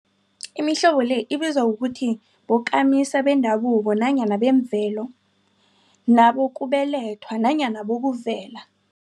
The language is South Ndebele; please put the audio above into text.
Imihlobo le ibizwa ukuthi bokamisa bendabuko nanyana bemvelo, nabokubelethwa nanyana bokuvela.